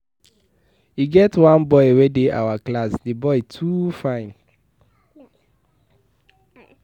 E get one boy wey dey our class, the boy too fine.